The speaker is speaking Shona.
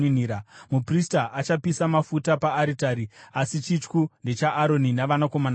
Muprista achapisa mafuta paaritari, asi chityu ndechaAroni navanakomana vake.